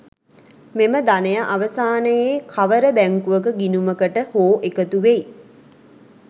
මෙම ධනය අවසානයේ කවර බැංකුවක ගිණුමකට හෝ එකතු වෙයි.